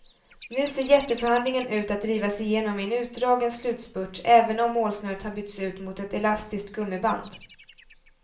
Nu ser jätteförhandlingen ut att drivas igenom i en utdragen slutspurt även om målsnöret har bytts ut mot ett elastiskt gummiband.